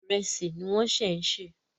Ìrẹsì ni wọ́n ń ṣẹ̀ ń sè.